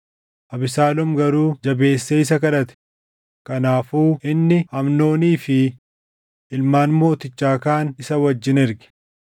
Abesaaloom garuu jabeessee isa kadhate; kanaafuu inni Amnoonii fi ilmaan mootichaa kaan isa wajjin erge.